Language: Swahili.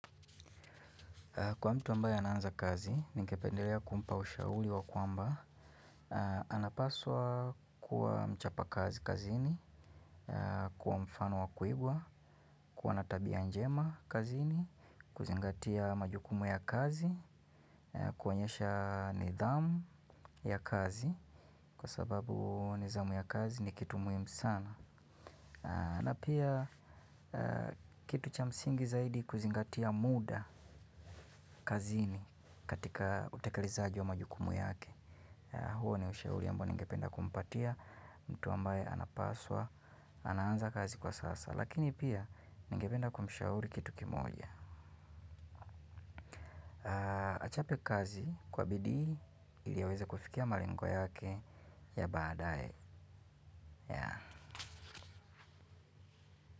Kwa mtu ambaye anaanza kazi, ninkependelea kumpa ushauli wa kwamba. Anapaswa kuwa mchapa kazi kazini, kuwa mfano wa kuigwa, kuwa natabia njema kazini, kuzingatia majukumu ya kazi, kuwanyesha nidhamu ya kazi. Kwa sababu nizamu ya kazi ni kitu muhimu sana. Na pia kitu cha msingi zaidi kuzingatia muda kazini katika utekalizaji wa majukumu yake. Huo ni ushauri ambao ningependa kumpatia mtu ambaye anapaswa, anaanza kazi kwa sasa. Lakini pia ningependa kumshauri kitu kimoja. Achape kazi kwa bidii ili aweze kufikia malengwa yake ya baadae.